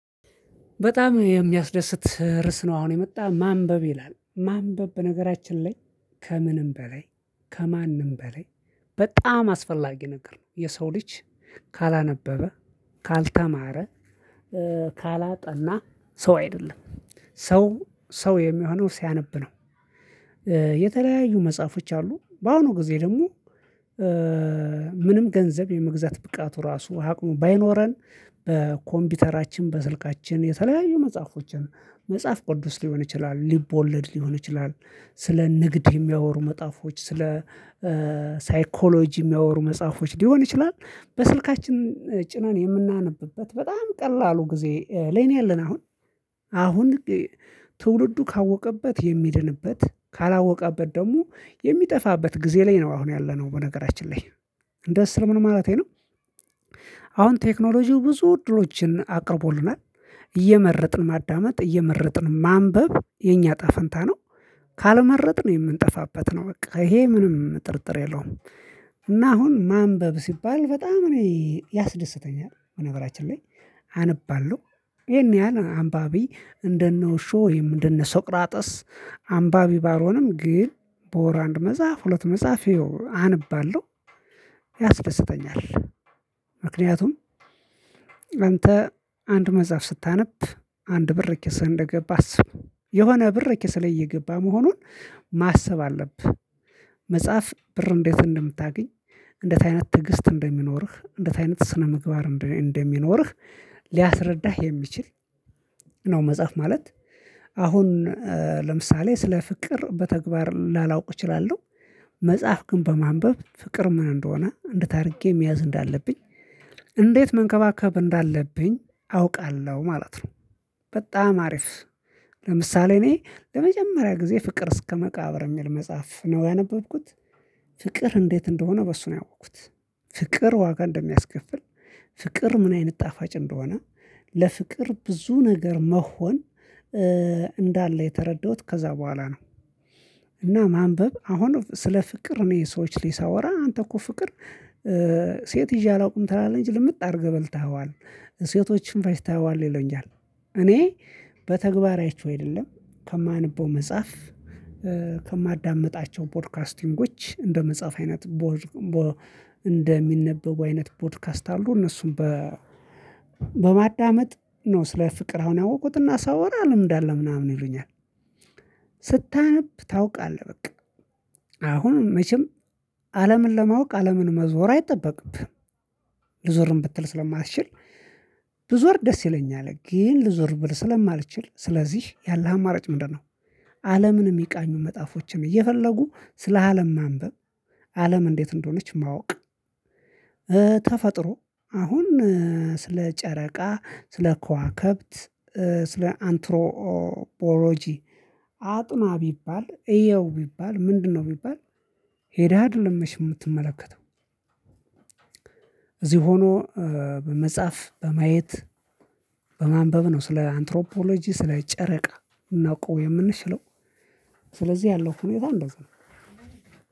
በጣም የሚያስደስት ርዕስ ነው አሁን የመጣ ማንበብ ይላል ማንበብ በነገራችን ላይ ከምንም በላይ ከማንም በላይ በጣም አስፈላጊ ነገር ነው የሰው ልጅ ካላነበበ ካልተማረ ካላጠና ሰው አይደለም ሰው ሰው የሚሆነው ሲያነብ ነው። የተለያዩ መጽሐፎች አሉ በአሁኑ ጊዜ ደግሞ ምንም ገንዘብ የመግዛት ብቃቱ ራሱ አቅሙ ባይኖረን በኮምፒውተራችን በስልካችን የተለያዩ መጽሐፎችን መጽሐፍ ቅዱስ ሊሆን ይችላል ሊቦለድ ሊሆን ይችላል ስለ ንግድ የሚያወሩ መጽሐፎች ስለ ሳይኮሎጂ የሚያወሩ መጽሐፎች ሊሆን ይችላል። በስልካችን ጭናን የምናነብበት በጣም ቀላሉ ጊዜ ለይ ነው ያለን አሁን አሁን ትውልዱ ካወቀበት የሚድንበት ካላወቀበት ደግሞ የሚጠፋበት ጊዜ ላይ ነው። አሁን ያለነው በነገራችን ላይ እንደ ስል ምን ማለቴ ነው። አሁን ቴክኖሎጂው ብዙ እድሎችን አቅርቦልናል እየመረጥን ማዳመጥ እየመረጥን ማንበብ የኛ እጣፈንታ ነው ካልመረጥን የምንጠፋበት ነው በቃ ይሄ ምንም ጥርጥር የለውም። እና አሁን ማንበብ ሲባል በጣም እኔ ያስደስተኛል በነገራችን ላይ አነባለሁ ይሄን ያህል አንባቢ እንደነ ውሾ ወይም እንደነ ሶቅራጥስ አምባቢ ባልሆንም ግን በወር አንድ መጽሐፍ ሁለት መጽሐፍ አንባለሁ ያስደስተኛል። ምክንያቱም አንተ አንድ መጽሐፍ ስታነብ አንድ ብር ኪስ እንደገባ አስብ የሆነ ብር ኪስህ ላይ እየገባ መሆኑን ማሰብ አለብህ። መጽሐፍ ብር እንዴት እንደምታገኝ እንዴት አይነት ትዕግስት እንደሚኖርህ እንዴት አይነት ስነምግባር እንደሚኖርህ ሊያስረዳህ የሚችል ነው። መጽሐፍ ማለት አሁን ለምሳሌ ስለ ፍቅር በተግባር ላላውቅ እችላለሁ መጽሐፍ ግን በማንበብ ፍቅር ምን እንደሆነ እንዴት አድርጌ መያዝ እንዳለብኝ እንዴት መንከባከብ እንዳለብኝ አውቃለሁ ማለት ነው። በጣም አሪፍ ለምሳሌ እኔ ለመጀመሪያ ጊዜ ፍቅር እስከ መቃብር የሚል መጽሐፍ ነው ያነበብኩት ፍቅር እንዴት እንደሆነ በሱ ነው ያወቅኩት። ፍቅር ዋጋ እንደሚያስከፍል ፍቅር ምን አይነት ጣፋጭ እንደሆነ ለፍቅር ብዙ ነገር መሆን እንዳለ የተረዳሁት ከዚያ በኋላ ነው። እና ማንበብ አሁን ስለ ፍቅር እኔ ሰዎች ላይ ሳወራ አንተ እኮ ፍቅር ሴት ይዤ አላውቅም ትላለህ እንጂ ልምጥ አድርገህ በልተኸዋል ሴቶችን ፈጅተኸዋል ይሉኛል። እኔ በተግባር አይቼው አይደለም ከማንበው መጽሐፍ ከማዳምጣቸው ፖድካስቲንጎች እንደ መጽሐፍ አይነት እንደሚነበቡ አይነት ፖድካስት አሉ እነሱም በ በማዳመጥ ነው ስለ ፍቅር አሁን ያወቅኩትና ሳወራ ልምድ አለህ ምናምን ይሉኛል። ስታነብ ታውቃለህ በቃ አሁን መቼም አለምን ለማወቅ አለምን መዞር አይጠበቅብህም። ልዞርም ብትል ስለማትችል ብዞር ደስ ይለኛል ግን ልዞር ብል ስለማልችል ስለዚህ ያለህ አማራጭ ምንድነው? አለምን የሚቃኙ መጽሐፎችን እየፈለጉ ስለአለም ማንበብ አለም እንዴት እንደሆነች ማወቅ። ተፈጥሮ አሁን ስለ ጨረቃ ስለ ከዋክብት ስለ አንትሮቦሎጂ አጥና ቢባል እየው ቢባል ምንድነው? ቢባል ሄደህ አይደለም መቼም የምትመለከተው እዚህ ሆኖ በመጽሐፍ በማየት በማንበብ ነው ስለ አንትሮፖሎጂ ስለ ጨረቃ ልናውቀው የምንችለው። ስለዚህ ያለው ሁኔታ እንደዚያ ነው።